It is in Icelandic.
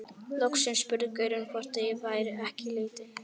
Loksins spurði gaurinn hvort ég væri ekki í leitinni.